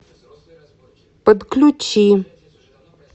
подключи